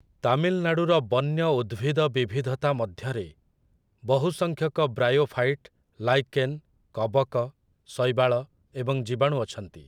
ତାମିଲନାଡୁର ବନ୍ୟ ଉଦ୍ଭିଦ ବିବିଧତା ମଧ୍ୟରେ ବହୁ ସଂଖ୍ୟକ ବ୍ରାୟୋଫାଇଟ୍, ଲାଇକେନ୍, କବକ, ଶୈବାଳ ଏବଂ ଜୀବାଣୁ ଅଛନ୍ତି ।